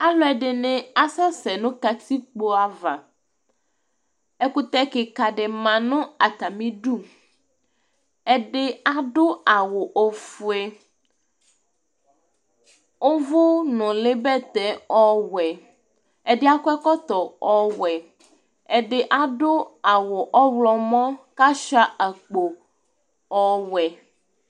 Alʋɛdɩnɩ asɛsɛ nʋ katikpo ava Ɛkʋtɛ kɩka dɩbma nʋ atamɩdu Ɛdɩ adʋ awʋ ofue, ʋvʋnʋlɩbɛtɛ ɔwɛ Ɛdɩ akɔ ɛkɔtɔ ɔwɛ, ɛdɩ adʋ awʋ ɔɣlɔmɔ kʋ asʋɩa akpo ɔwɛ